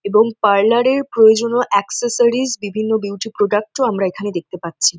এবং পার্লার এ প্রয়োজনো এক্সেসরিস বিভিন্ন বিউটি প্রোডাক্ট ও আমরা এখানে দেখতে পাচ্ছি।